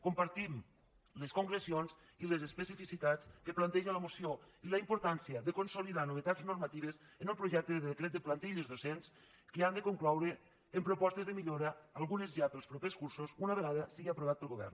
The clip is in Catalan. compartim les concrecions i les especificitats que planteja la moció i la importància de consolidar no·vetats normatives en el projecte de decret de plantilles docents que han de concloure en propostes de millo·ra algunes ja per als propers cursos una vegada sigui aprovat pel govern